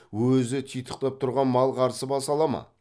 өзі титықтап тұрған мал қарсы баса ала ма